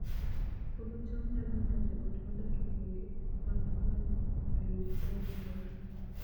Puodho cham nyalo miyo joot modak e gwenge mag gweng' oyud chiemo maber